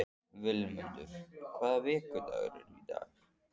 Vilmundur, hvaða vikudagur er í dag?